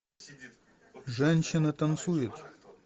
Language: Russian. женщина танцует